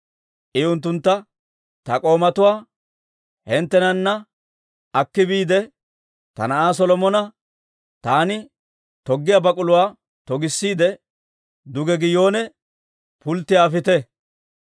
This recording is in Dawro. I unttuntta, «Ta k'oomatuwaa hinttenana akki biide, ta na'aa Solomona taani toggiyaa bak'uluwaa togissiide, duge Giyoone pulttiyaa afite.